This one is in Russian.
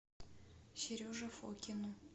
сереже фокину